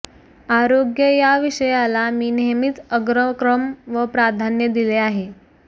आरोग्य या विषयाला मी नेहमीच अग्रक्रम व प्राधान्य दिले आहे